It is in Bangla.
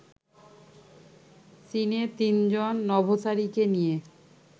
চীনের তিনজন নভোচারীকে নিয়ে